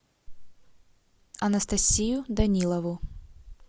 анастасию данилову